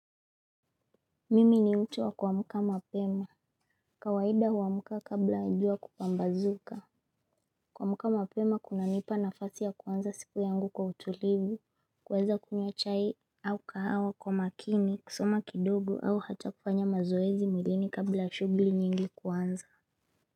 Mimi ni mtu wa kuamuka mapema. Kawaida huamka kabla jua kupambazuka. Kuamka mapema kunanipa nafasi ya kuanza siku yangu kwa utulivu, kuweza kunywa chai au kahawa kwa makini, kusoma kidogo au hata kufanya mazoezi mwilini kabla shughli nyingi kuanza.